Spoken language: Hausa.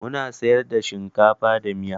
Muna siyar da shinkafa da miya.